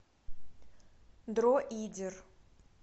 дроидер